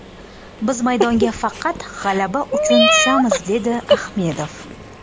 Biz maydonga faqat g‘alaba uchun tushamiz”, dedi Ahmedov.